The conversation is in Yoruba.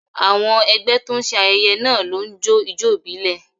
Àwọn ẹgbẹ́ tó ń ṣe ayẹyẹ náà ló ń jó ijó ìbílẹ̀